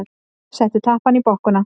Settu tappann í bokkuna.